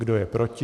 Kdo je proti?